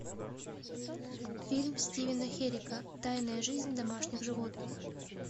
фильм стивена херека тайная жизнь домашних животных